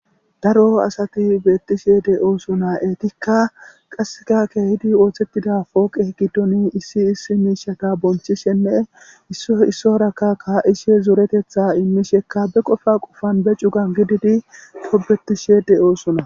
Daro asati beettishe de7oosona etikka qaseka keehidi ooththettida pooqe giddoni issi issi miishata bonchishenne issoy issuwarakka kaa7ishe zoretetha immishekka be qofa qofan be cugan gididi tobbettishe de7oosona.